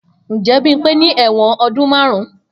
Njẹ Bimpe ni ẹwọn ọdun marun?